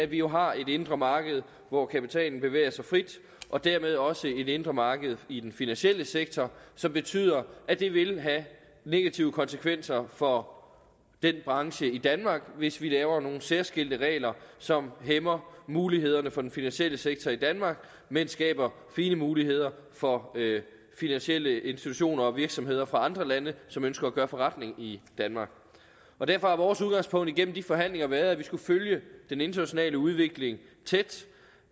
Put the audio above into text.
vi jo har et indre marked hvor kapitalen bevæger sig frit og dermed også et indre marked i den finansielle sektor som betyder at det vil have negative konsekvenser for den branche i danmark hvis vi laver nogle særskilte regler som hæmmer mulighederne for den finansielle sektor i danmark men skaber fine muligheder for finansielle institutioner og virksomheder fra andre lande som ønsker at gøre forretning i danmark derfor har vores udgangspunkt igennem de forhandlinger været at vi skulle følge den internationale udvikling tæt